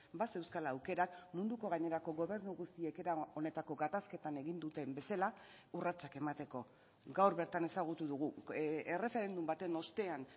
bazeuzkala aukerak munduko gainerako gobernu guztiek era honetako gatazketan egin duten bezala urratsak emateko gaur bertan ezagutu dugu erreferendum baten ostean